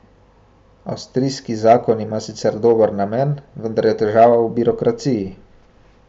Avstrijski zakon ima sicer dober namen, vendar je težava v birokraciji.